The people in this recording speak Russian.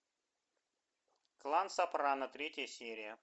клан сопрано третья серия